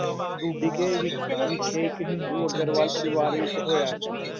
ਢੁੱਡੀਕੇ ਵਿਖ~ ਵਿਖੇ ਇੱਕ ਹਿੰਦੂ ਅਗਰਵਾਲ ਪਰਿਵਾਰ ਵਿੱਚ ਹੋਇਆ ਸੀ,